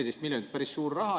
14 miljonit on päris suur raha.